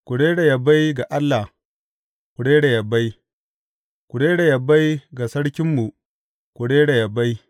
Ku rera yabai ga Allah, ku rera yabai; ku rera yabai ga Sarkinmu, ku rera yabai.